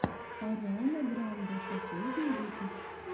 ариана гранде последний выпуск